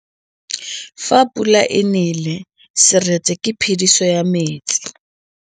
Fa pula e nelê serêtsê ke phêdisô ya metsi.